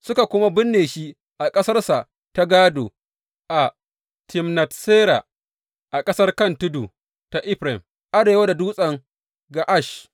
Suka kuma binne shi a ƙasarsa ta gādo, a Timnat Sera a ƙasar kan tudu ta Efraim, arewa da Dutsen Ga’ash.